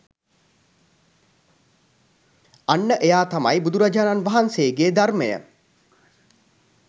අන්න එයා තමයි බුදුරජාණන් වහන්සේගේ ධර්මය